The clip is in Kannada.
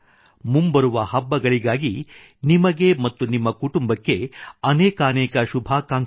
ಮುಂಬರುವ ಹಬ್ಬಗಳಿಗಾಗಿ ನಿಮಗೆ ಮತ್ತು ನಿಮ್ಮ ಕುಟುಂಬಕ್ಕೆ ಅನೇಕಾನೇಕ ಶುಭಾಕಾಂಕ್ಷೆಗಳು